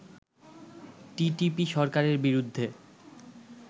TTP সরকারের বিরুদ্ধে